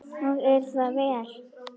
Og er það vel.